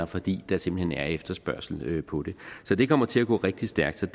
fordi der simpelt hen er efterspørgsel på det så det kommer til at gå rigtig stærkt så